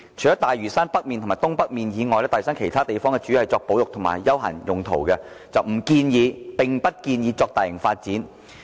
除了大嶼山北面及東北面以外，大嶼山其他地方主要作保育和休閒等用途，並不建議作大型發展"。